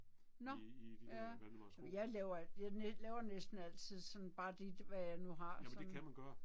Nåh, ja. Jamen jeg laver jeg laver næsten altid sådan bare lige hvad jeg nu har sådan